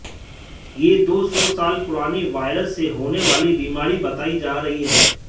यह दो सौ साल पुरानी वायरस से होने वाली बीमारी बताई जा रही है